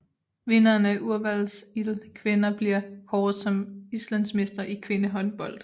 Vinderen af Úrvalsdeild kvenna bliver kåret som islandsmestre i kvindehåndbold